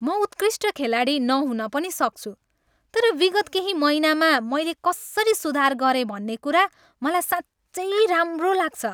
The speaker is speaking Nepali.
म उत्कृष्ट खेलाडी नहुन पनि सक्छु तर विगत केही महिनामा मैले कसरी सुधार गरेँ भन्ने कुरा मलाई साँच्चै राम्रो लाग्छ।